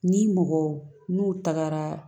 Ni mɔgɔw n'u tagara